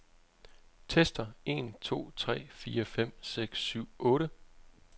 Tester en to tre fire fem seks syv otte.